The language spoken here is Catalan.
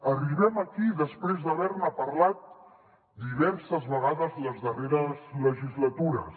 arribem aquí després d’haver ne parlat diverses vegades les darreres legislatures